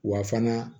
Wa fana